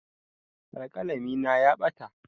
Alƙalami na ya ɓata.